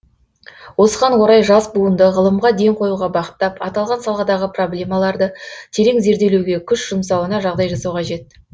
осыған орай жас буынды ғылымға ден қоюға бағыттап аталған саладағы проблемаларды терең зерделеуге күш жұмсауына жағдай жасау қажет